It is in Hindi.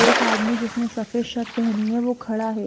एक आदमी जिसने सफेद शर्ट पहनी है वो खड़ा है।